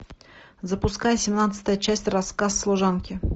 запускай семнадцатая часть рассказ служанки